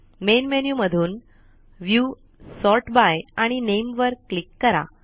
main menu मधून view sort by आणि नामे वर क्लिक करा